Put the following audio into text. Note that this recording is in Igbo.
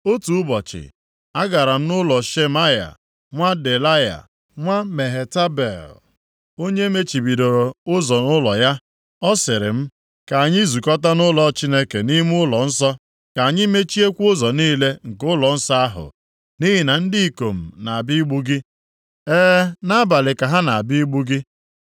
Otu ụbọchị, a gara m nʼụlọ Shemaya, nwa Delaya, nwa Mehetabel, onye e mechibidoro ụzọ nʼụlọ ya. Ọ sịrị m, “Ka anyị zukọta nʼụlọ Chineke, nʼime ụlọnsọ, ka anyị mechiekwa ụzọ niile nke ụlọnsọ ahụ, nʼihi na ndị ikom na-abịa igbu gị, e, nʼabalị ka ha na-abịa igbu gị.”